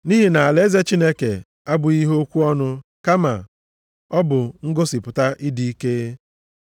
Nʼihi na alaeze Chineke abụghị ihe okwu ọnụ kama ọ bụ ngosipụta ịdị ike.